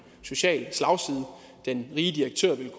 social slagside den rige direktør ville